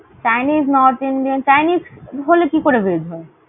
chinese north indian, chinese হলে কি করে veg হয়?